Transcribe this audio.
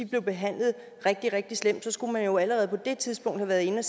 blev behandlet rigtig rigtig slemt skulle man jo allerede på det tidspunkt have været inde